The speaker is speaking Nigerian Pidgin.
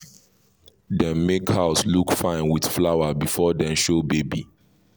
dem make house look fine with flower before dem show baby